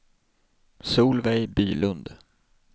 Solveig Bylund